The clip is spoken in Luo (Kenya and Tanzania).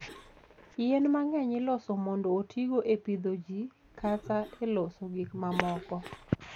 Yien mang'eny iloso mondo otigo e pidho ji kata e loso gik mamoko.